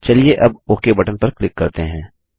चलिए अब okay button पर क्लिक करते हैं